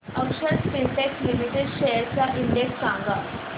अक्षर Spintex limited shares चा index सांगा